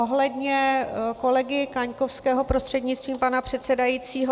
Ohledně kolegy Kaňkovského prostřednictvím pana předsedajícího.